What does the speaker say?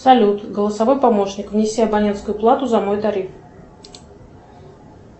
салют голосовой помощник внеси абонентскую плату за мой тариф